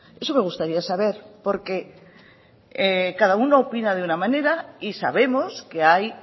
eso me gustaría saber porque cada uno opina de una manera y sabemos que hay